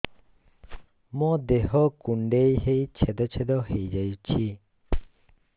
ମୋ ଦେହ କୁଣ୍ଡେଇ ହେଇ ଛେଦ ଛେଦ ହେଇ ଯାଉଛି